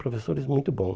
Professores muito bom.